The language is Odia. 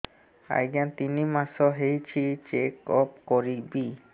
ଆଜ୍ଞା ତିନି ମାସ ହେଇଛି ଚେକ ଅପ କରିବି